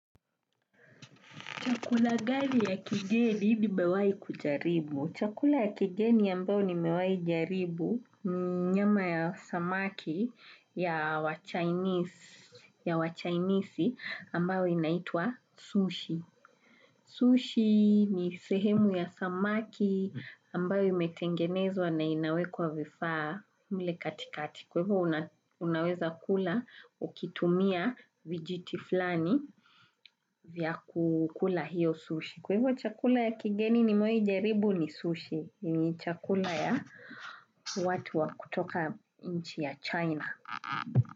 Chakula gani ya kigeni nimewahi kujaribu chakula ya kigeni ambao ni mewahi jaribu ni nyama ya samaki ya wa chainisi ambao inaitwa sushi. Sushi ni sehemu ya samaki ambayo imetengenezwa na inawe kwa vifaa mle kati kati. Kwa hivyo unaweza kula ukitumia vijiti fulani vya kukula hiyo sushi. Kwa hivyo chakula ya kigeni nimewahi jaribu ni sushi. Ni chakula ya watu wa kutoka nchi ya China.